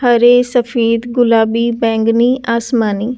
हरे सफेद गुलाबी बैंगनी आसमानी--